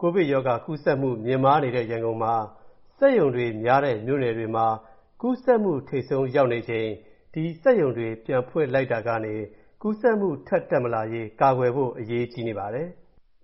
ကိုဗစ်-19 ရောဂါကူးစက်မူ မြင့်မားနေတဲ့ ရန်ကုန်မှာမှ၊ စက်ရုံတွေများတဲ့ မြို့နယ်တွေမှာ ကူးစက်မူထိပ်ဆုံးရောက်နေချိန်၊ ဒီစက်ရုံတွေ ပြန်ဖွင့်လိုက်တာကနေ ကူးစက်မူထပ်တက်မလာရေး ကာကွယ်ဖို့အရေးကြီးနေပါတယ်။